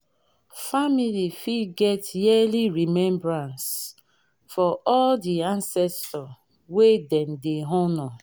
family fit get yearly remembrance for di ancestor wey dem dey honour